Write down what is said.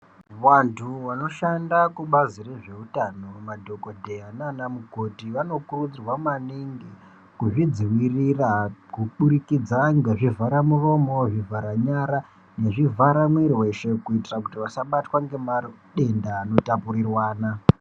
Vantu vanoshanda kubazi rezvehutano madhokodheya nana mukoti vanokurudzirwa maningi kuzvidzivirira kuburikidza nezvivhara muromo zvivhara nyara nezvivhara mwiri weshe kuitira kuti asabatwa nematenda eshe.